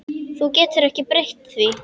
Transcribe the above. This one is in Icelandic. Þú getur ekki breytt því.